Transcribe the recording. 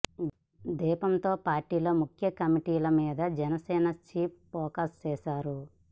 దీంతో పార్టీలో ముఖ్య కమిటీల మీద జనసేన చీఫ్ ఫోకస్ చేశారు